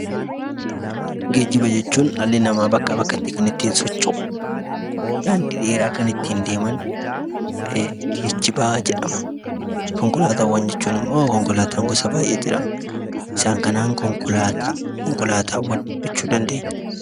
Geejjiba jechuun dhalli namaa bakkaa bakkatti kan ittiin socho'u, daandii dheeraa kan ittiin deeman geejjiba jedhama. Konkolaataawwan jechuun immoo konkolaataa gosa baay'ee jira. Isaan kanaan konkolaataawwan jechuu dandeenya.